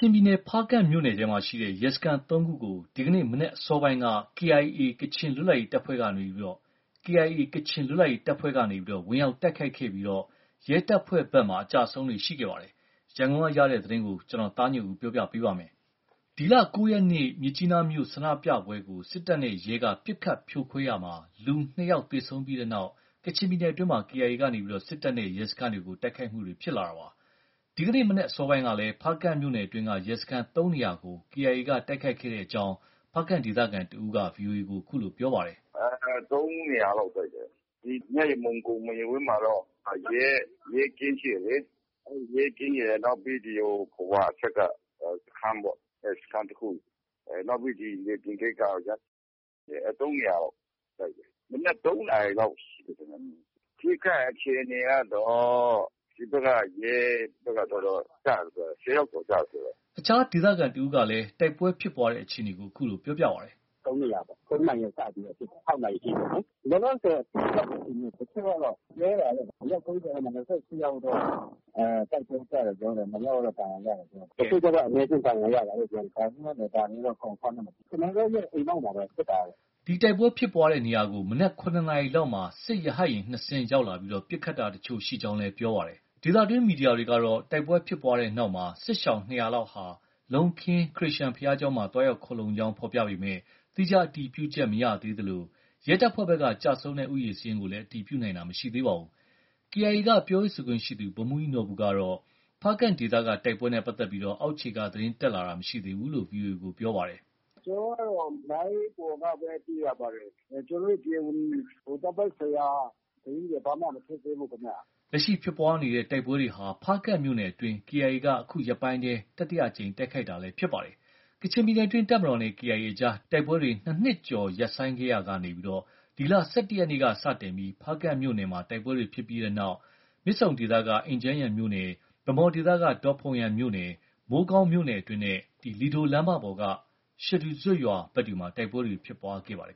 င်ပြည်နယ် ဖားကန့်မြို့နယ်က ရဲစခန်း ၃ ခုကို ဒီကနေ့မနက် အစောပိုင်းက KIA ကချင်လွတ်လပ်ရေးတပ်ဖွဲ့က ဝင်ရောက်တိုက်ခိုက်ခဲ့ပြီး ရဲတပ်ဖွဲ့ဘက်က အကျအဆုံးတွေ ရှိခဲ့ပါတယ်။ ရန်ကုန်ကရရှိတဲ့သတင်းကို ကိုသားညွန့်ဦး ပြောပြပါမယ်။ ဒီလ ၉ ရက်နေ့ မြစ်ကြီးနားမြို့ ဆန္ဒပြပွဲကို စစ်တပ်နဲ့ ရဲက ပစ်ခတ်ဖြိုခွင်းရာမှာ လူ ၂ ယောက် သေဆုံးပြီးတဲ့နောက် ကချင်ပြည်နယ်အတွင်းမှာ KIA က စစ်တပ်နဲ့ ရဲစခန်းတွေကို တိုက်ခိုက်လာတာပါ။ ဒီကနေ့မနက် အစောပိုင်းကလည်း ဖားကန့်မြို့နယ်အတွင်းက ရဲစခန်း ၃ နေရာကို KIA က တိုက်ခိုက်ခဲ့တဲ့အကြောင်း ဖားကန့်ဒေသခံတဦးက ဗွီအိုအေကို အခုလို ပြောပါတယ်။ “၃ နေရာလောက် တိုက်တယ်။ မြယမုံ ကုမ္ပဏီဝင်းမှာတော့ ရဲကင်းရှိတယ်လေ။ အဲဒီရဲကင်းရယ်၊ နောက်ပြီး ဖာဝါအထက်က စခန်းပေါ့။ အဲဒီစခန်းတခု၊ အဲ နောက်ပြီး ဒီလယ်ပြင်ဂိတ်ကပေါ့ဗျာ၊ ၃ နေရာလောက် တိုက်တယ်။ မနက် ၃ နာရီလောက် ရှိမယ်ထင်တယ်။ အထိအခိုက် အခြေအနေကတော့ ဒီဘက်က ရဲဘက်က တော်တော်ကျတယ်ပြောတယ်။ ၁၀ ယောက်ကျော် ကျတယ်ပြောတယ်။” အခြားဒေသခံတဦးကလည်း တိုက်ပွဲဖြစ်ပွားတဲ့ အခြေအနေကို အခုလို ပြောပါတယ်။ “၃ နေရာပေါ့။ ၃ နာရီကနေ စပြီးတော့ တိုက်ပွဲဖြစ်တာ။ ၆ နာရီအထိပေါ့လေ။ လောလောဆယ် အထိအခိုက် အြခေအနေသတင်းကတော့ တချို့ကတော့ ၃၀ လောက်မှာ ၂၈ ယောက်တော့ တိုက်ပွဲကျတယ် ပြောတယ်။ ၂ ယောက်ကတော့ ဒဏ်ရာရတယ်ပြောတယ်။ တချို့ကျတော့ အနည်းအကျဉ်း ဒဏ်ရာရတာလို့ ပြောတယ်။ ဒါပေမယ့်လည်း ဒါတွေတော့ Confirm တော့မဖြစ်ဘူး။ ကျနော်တို့ရဲ့ အိမ်နောက်မှာပဲ ဖြစ်တာကတော့။” ဒီတိုက်ပွဲဖြစ်ပွားတဲ့နေရာကို မနက် ၇ နာရီလောက်မှာ စစ်ရဟတ်ယာဉ် ၂ စင်း ရောက်ရှိလာပြီး ပစ်ခတ်တာတချို့ ရှိကြောင်းလည်း ပြောပါတယ်။ ဒေသတွင်း မီဒီယာတွေကတော့ တိုက်ပွဲဖြစ်ပွားတဲ့နောက်မှာ စစ်ရှောင် ၂၀၀ လောက်ဟာ လုံးခင်း ခရစ်ယာန်ဘုရားကျောင်းမှာ သွားရောက်ခိုလှုံကြောင်း ဖော်ပြပေမယ့် သီးခြားအတည်ပြုချက် မရသေးသလို ရဲတပ်ဖွဲ့ဘက်က ကျဆုံးတဲ့ဦးရေ စာရင်းကိုလည်း အတည်ပြုနိုင်တာ မရှိသေးပါဘူး။ KIA က ပြောရေးဆိုခွင့်ရှိသူ ဗိုလ်မှူးကြီးနော်ဘူကတော့ ဖားကန့်ဒေသက တိုက်ပွဲနဲ့ ပတ်သက်ပြီး အောက်ခြေက သတင်းတက်လာတာ မရှိသေးဘူးလို့ ဆိုပါတယ်။ “ကျနော်ကတော့ လိုင်းပေါ်ကပဲ သိရပါတယ်။ ကျနော်တို့ တရားဝင် တပ်ပိုင်းဆိုင်ရာ သတင်းတွေ ဘာမှ မထုတ်သေးဘူးခင်ဗျ။” လက်ရှိဖြစ်ပွားတဲ့ တိုက်ပွဲတွေဟာ ဖားကန့်မြို့နယ်အတွင်း KIA က အခုရက်ပိုင်းထဲ တတိယအကြိမ် တိုက်ခိုက်တာလည်း ဖြစ်ပါတယ်။ ကချင်ပြည်နယ်အတွင်း တပ်မတော်နဲ့ KIA အကြား တိုက်ပွဲတွေ ၂ နှစ်ကျော် ရပ်ဆိုင်းခဲ့ရာက ဒီလ ၁၁ ရက်နေ့က စတင်ပြီး ဖားကန့်မြို့နယ်မှာ တိုက်ပွဲတွေ ဖြစ်ခဲ့တဲ့နောက် မြစ်ဆုံဒေသက အင်ဂျန်ယန်းမြို့နယ်၊ ဗန်းမော်ဘက်က ဒေါ့ဖုန်းယန်းမြို့နယ်၊ မိုးကောင်းမြို့နယ်အတွင်းနဲ့ လီဒိုလမ်းမပေါ်က ရှဒူဇွပ်ရွာဘက်တွေမှာ တိုက်ပွဲတွေ ဖြစ်ပွားခဲ့ပါတယ်